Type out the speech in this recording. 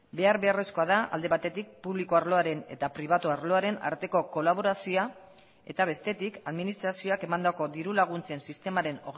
behar beharrezkoa da alde batetik publiko arloaren eta pribatu arloaren arteko kolaborazioa eta bestetik administrazioak emandako dirulaguntzen sistemaren